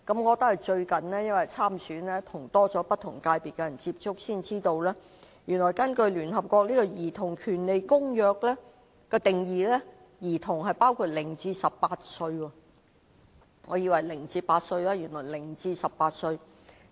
我因最近參選，與不同界別的人接觸多了，才知道原來根據聯合國《兒童權利公約》的定義，兒童是指0至18歲，我以為是0至8歲。